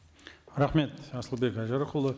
рахмет асылбек айжарықұлы